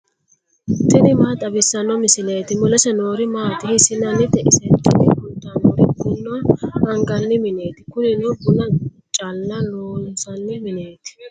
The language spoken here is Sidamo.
tini maa xawissanno misileeti ? mulese noori maati ? hiissinannite ise ? tini kultannori buna anganni mineeti. kunino buna caalla loonsanni mineeti.